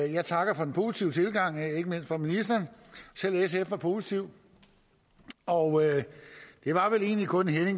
jeg takker for den positive tilgang ikke mindst fra ministeren selv sf var positiv og det var vel egentlig kun